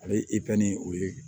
Ale o ye